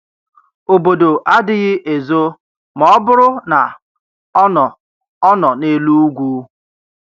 Obodo adịghị ezo ma ọ bụrụ na ọ nọ ọ nọ n’elu ugwu.